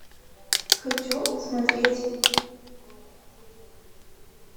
хочу смотреть